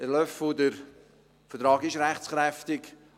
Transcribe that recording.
Herr Löffel, der Vertrag ist rechtskräftig.